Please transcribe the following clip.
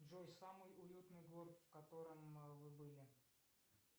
джой самый уютный город в котором вы были